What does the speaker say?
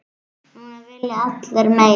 Núna vilja allir meira.